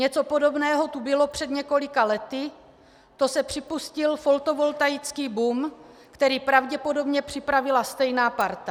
Něco podobného tu bylo před několika lety, to se připustil fotovoltaický boom, který pravděpodobně připravila stejná parta."